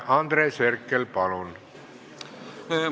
Andres Herkel, palun!